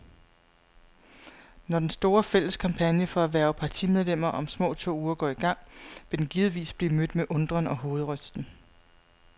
Når den store, fælles kampagne for at hverve partimedlemmer om små to uger går i gang, vil den givetvis blive mødt med undren og hovedrysten.